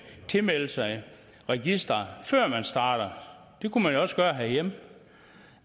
tilmelde sig registeret før man starter det kunne man jo også gøre herhjemme det